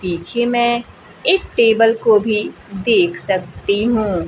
पीछे मैं एक टेबल को भी देख सकती हूं।